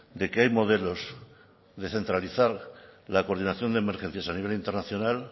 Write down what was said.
de que hay modelos de centralizar la coordinación de emergencias a nivel internacional